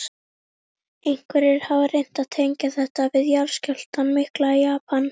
Mundi mér nokkurntíma auðnast að ná valdi á galdri orðsins og tjá ótímabundnar hræringar mannssálarinnar?